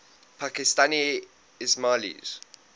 pakistani ismailis